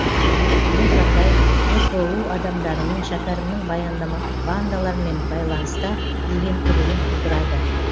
бұл жағдай гпу адамдарының шәкәрімнің бандалармен байланыста деген күдігін тудырады